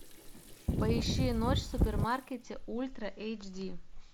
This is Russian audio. поищи ночь в супермаркете ультра эйч ди